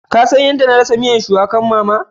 Ka San yadda na rasa miyan shuwakan mama?